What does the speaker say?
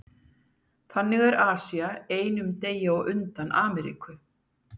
Þannig er Asía einum degi á undan Ameríku.